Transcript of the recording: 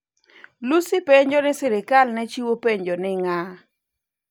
Lussi penjo ni serikal ne ochiwo penjo ni ng'a ?